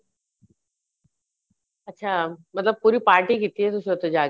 ਅੱਛਾ ਮਤਲਬ ਪੂਰੀ party ਕੀਤੀ ਏ ਤੁਸੀਂ ਉੱਥੇ ਜਾ ਕੇ